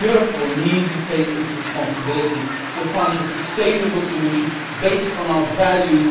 Europe will need to take its responsibility to find a sustainable solution based on our values.